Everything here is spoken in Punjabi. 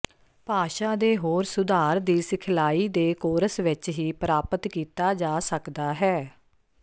ਭਾਸ਼ਾ ਦੇ ਹੋਰ ਸੁਧਾਰ ਦੀ ਸਿਖਲਾਈ ਦੇ ਕੋਰਸ ਵਿੱਚ ਹੀ ਪ੍ਰਾਪਤ ਕੀਤਾ ਜਾ ਸਕਦਾ ਹੈ